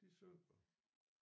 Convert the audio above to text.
De synker